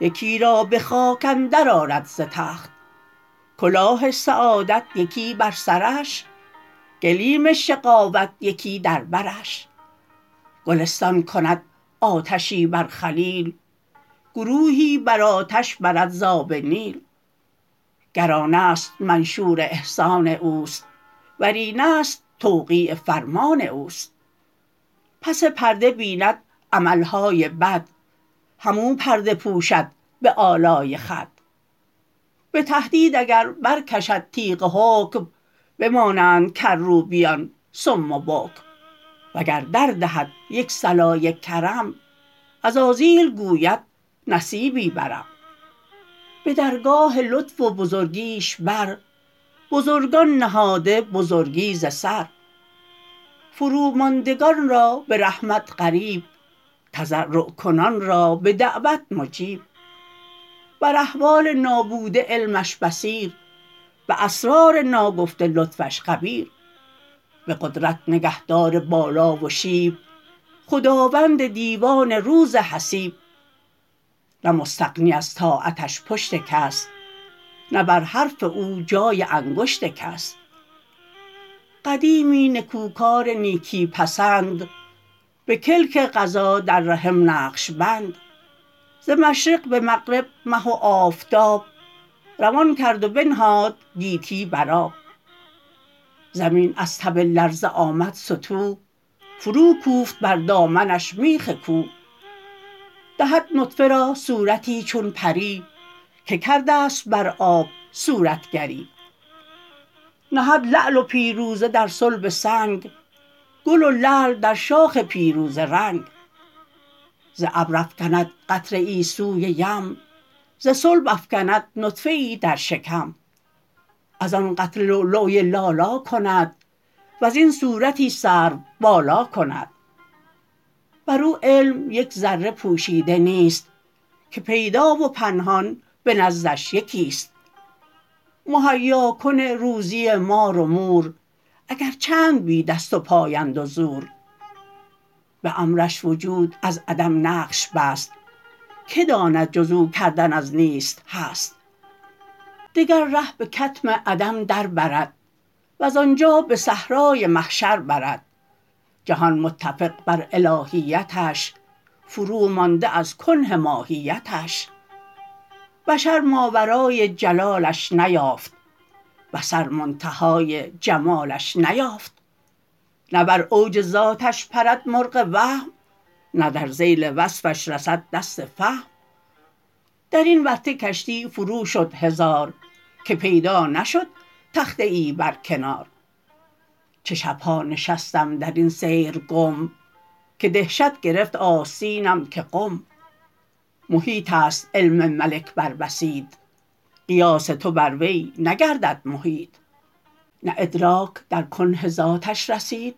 یکی را به خاک اندر آرد ز تخت کلاه سعادت یکی بر سرش گلیم شقاوت یکی در برش گلستان کند آتشی بر خلیل گروهی به آتش برد ز آب نیل گر آن است منشور احسان اوست ور این است توقیع فرمان اوست پس پرده بیند عمل های بد هم او پرده پوشد به آلای خود به تهدید اگر برکشد تیغ حکم بمانند کروبیان صم و بکم وگر دردهد یک صلای کرم عزازیل گوید نصیبی برم به درگاه لطف و بزرگیش بر بزرگان نهاده بزرگی ز سر فروماندگان را به رحمت قریب تضرع کنان را به دعوت مجیب بر احوال نابوده علمش بصیر به اسرار ناگفته لطفش خبیر به قدرت نگهدار بالا و شیب خداوند دیوان روز حسیب نه مستغنی از طاعتش پشت کس نه بر حرف او جای انگشت کس قدیمی نکوکار نیکی پسند به کلک قضا در رحم نقش بند ز مشرق به مغرب مه و آفتاب روان کرد و بنهاد گیتی بر آب زمین از تب لرزه آمد ستوه فروکوفت بر دامنش میخ کوه دهد نطفه را صورتی چون پری که کرده ست بر آب صورتگری نهد لعل و پیروزه در صلب سنگ گل لعل در شاخ پیروزه رنگ ز ابر افکند قطره ای سوی یم ز صلب افکند نطفه ای در شکم از آن قطره لولوی لالا کند وز این صورتی سروبالا کند بر او علم یک ذره پوشیده نیست که پیدا و پنهان به نزدش یکی ست مهیاکن روزی مار و مور اگر چند بی دست وپای اند و زور به امرش وجود از عدم نقش بست که داند جز او کردن از نیست هست دگر ره به کتم عدم در برد وز آنجا به صحرای محشر برد جهان متفق بر الهیتش فرومانده از کنه ماهیتش بشر ماورای جلالش نیافت بصر منتهای جمالش نیافت نه بر اوج ذاتش پرد مرغ وهم نه در ذیل وصفش رسد دست فهم در این ورطه کشتی فرو شد هزار که پیدا نشد تخته ای بر کنار چه شب ها نشستم در این سیر گم که دهشت گرفت آستینم که قم محیط است علم ملک بر بسیط قیاس تو بر وی نگردد محیط نه ادراک در کنه ذاتش رسید